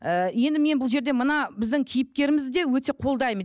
ыыы енді мен бұл жерде мына біздің кейіпкерімізде өте қолдаймын